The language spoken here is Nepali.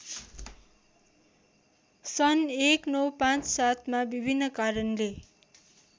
सन् १९५७ मा विभिन्न कारणले